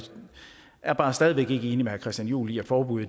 er bare stadig væk ikke enig med herre christian juhl i at forbud